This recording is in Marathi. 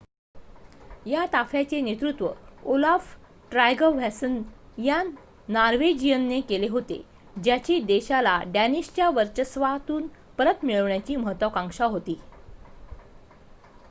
या ताफ्याचे नेतृत्व ओलाफ ट्रायगव्हॅसन या नॉर्वेजियनने केले होते ज्याची देशाला डॅनिशच्या वर्चस्वातून परत मिळवण्याची महत्वाकांक्षा होती